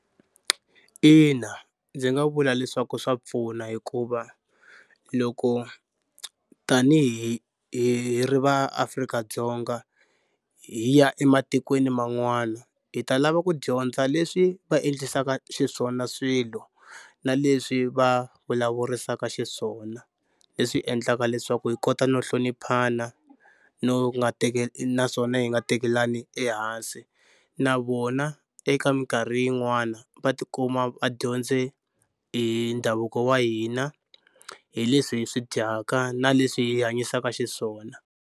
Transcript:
Ina ndzi nga vula leswaku swa pfuna hikuva loko tanihi hi ri vaAfrika-Dzonga hi ya ematikweni man'wana hi ta lava ku dyondza leswi va endlisaka xiswona swilo na leswi va vulavurisaka xiswona leswi endlaka leswaku hi kota no hloniphana no nga naswona hi nga tekelani ehansi na vona eka mikarhi yin'wana va tikuma va dyondze hi ndhavuko wa hina hi leswi hi swi dyaka na leswi hi hanyisaka xiswona.